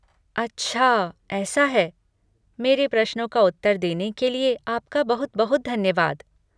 अच्छा ऐसा है। मेरे प्रश्नों का उत्तर देने के लिए आपका बहुत बहुत धन्यवाद।